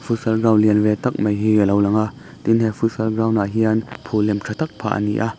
futsal ground lian ve tak mai hi alo lang a tin he futsal ground ah hian phul lem tha tak phah a ni a--